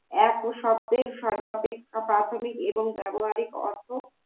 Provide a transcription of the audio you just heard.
এক শব্দের সর্বাপেক্ষা প্রাথমিক এবং ব্যবহারিক অর্থ